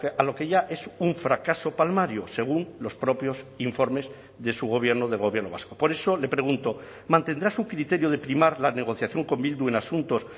a lo que ya es un fracaso palmario según los propios informes de su gobierno del gobierno vasco por eso le pregunto mantendrá su criterio de primar la negociación con bildu en asuntos